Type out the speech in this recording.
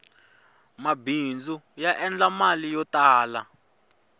mabindzu ya endla mali yo tala